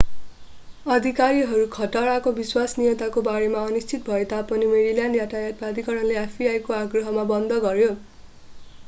अधिकारीहरू खतराको विश्वसनीयताको बारेमा अनिश्चित भए तापनि मेरील्यान्ड यातायात प्राधिकरणले fbi को आग्रहमा बन्द गर्‍यो।